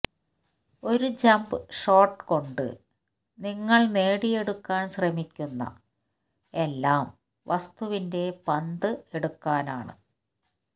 ഒരു jump shot കൊണ്ട് നിങ്ങൾ നേടിയെടുക്കാൻ ശ്രമിക്കുന്ന എല്ലാം വസ്തുവിന്റെ പന്ത് എടുക്കാനാണ്